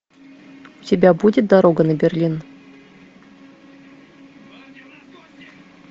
у тебя будет дорога на берлин